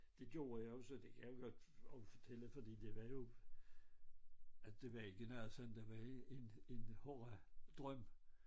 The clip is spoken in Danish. Det gjorde jeg jo så det kan jeg jo godt også fortælle fordi det var jo at det var ikke noget sådan der var en hård drøm